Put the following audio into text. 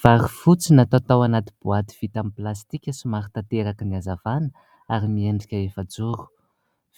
Vary fotsy natao tao anaty boaty vita amin'ny plastika somary tanteraky ny hazavana ary miendrika efajoro.